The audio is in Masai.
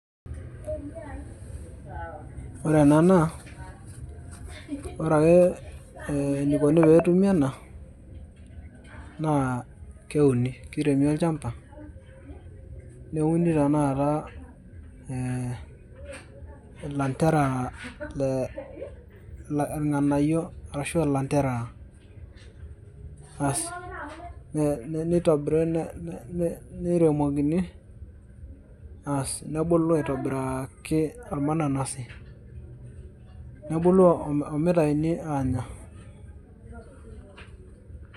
Ore enaa naa ore ake eneikoni peetumi ena naa keuni keiremi olchampa neuni tanakata ee lanterera le nganayio arashu landerera ,aas nitubirunye neiremuni aas nebulu aitobiraki ormananasi, nebulu omitauni anya.